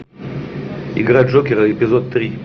игра джокера эпизод три